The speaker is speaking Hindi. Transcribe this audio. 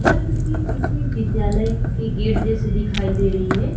यह तस्वीर किसी विद्यालय के गेट जैसे दिखाई दे रही है।